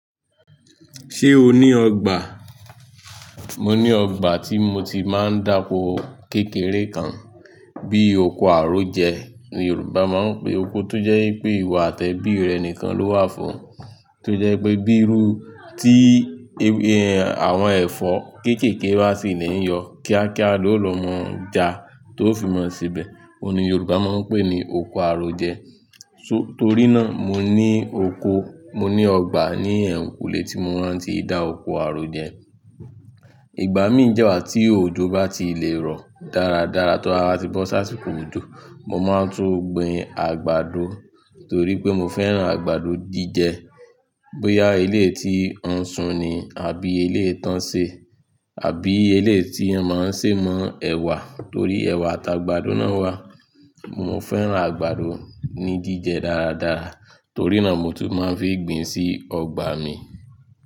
Ṣé o ní ọgbà? Mo ní ọgbà tí mo ti máa ń da oko kékeré kan, bí oko àrójẹ́. Yorùbá máa ń pe oko tó jẹ́ pé ìwọ àti ẹbí rẹ nìkan ló wà fún, tó jẹ́ pé bí irú tí àwọn ẹ̀fọ́ kéékèèké bá sì le yọ, kíákíá ló lọ mọ̀ ọ́n ja tó fi mọ̀ síbẹ̀. Óun ni Yorùbá máa ń pè ní oko àrójẹ́. Torí náà mo ní oko, mo ní ọgbà ní ẹ kùlé tí mo máa ń ti dá oko àrójẹ́. Ìgbà mí dẹ́ wa tí òjò bá ti lè rọ̀ dáradára tí awon ti bọ́ sáà asiko òjò, mo máa tún gbin àgbàdo torí pé mo fẹ́ràn àgbàdo jíjẹ. Bóyá eleyii tí ó ń sun ni àbí eleyii tánṣẹ́ àbí eleyii tí a máa ń ṣèmọ́ ẹ̀wà torí ẹ̀wà àti àgbàdo náà wà. Mo fẹ́ràn àgbàdo ní jíjẹ dáradára, torí náà mo tún máa ń fi gbin sí ọgbà mi.